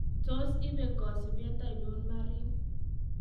Tos ibee kosibeet ainon Marin.